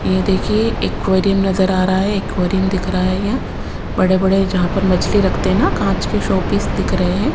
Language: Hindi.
यह देखिए एक्वेरियम नजर आ रहा है एक्वेरियम दिख रहा है यह बड़े बड़े जहां पर मछली रखते हैं ना कांच के शोपीस दिख रहे हैं।